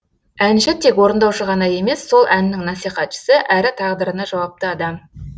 әнші тек орындаушы ғана емес сол әннің насихатшысы әрі тағдырына жауапты адам